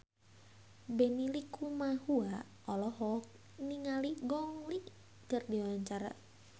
Benny Likumahua olohok ningali Gong Li keur diwawancara